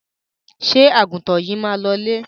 Ṣé àgùntàn yìí máa lọ ilé?